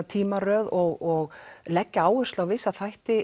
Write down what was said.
tímaröð og leggja áherslur á vissa þætti